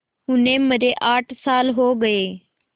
उन्हें मरे आठ साल हो गए